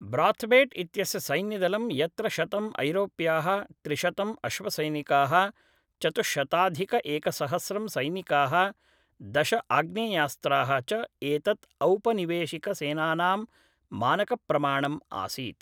Brathwaite इत्यस्य सैन्यदलं यत्र शतम् ऐरोप्याः त्रिशतम् अश्वसैनिकाः चतुश्शताधिक एकसहस्रं सैनिकाः दश आग्नेयास्त्राः च एतत् औपनिवेशिकसेनानां मानकप्रमाणम् आसीत्